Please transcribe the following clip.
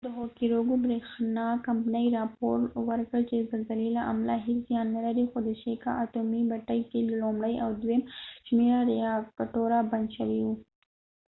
د هوکوریکو بریښنا کمپنۍ راپور ورکړل چې د زلزلې له امله هیڅ زیان نلري خو د شیکا اتومي بټۍ کې لومړۍ او دویم شمیره ریاکټوره بند شوي وو